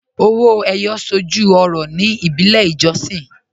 Ọwọ́ Eyọ̀ sọ́jú ọ̀rọ̀ ní ìbílẹ̀ ìjọ̀ṣìn